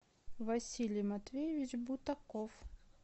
василий матвеевич бутаков